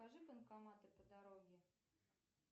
покажи банкоматы по дороге